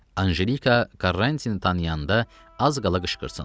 Anjelika Karrantini tanıyanda az qala qışqırsın.